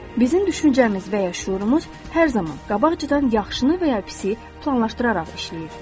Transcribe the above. Bizim düşüncəmiz və ya şüurumuz hər zaman qabaqcadan yaxşını və ya pisi planlaşdıraraq işləyir.